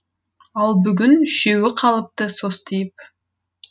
ал бүгін үшеуі қалыпты состиып